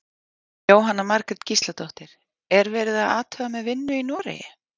Jóhanna Margrét Gísladóttir: Er verið að athuga með vinnu í Noregi?